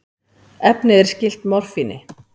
Efnið er skylt morfíni.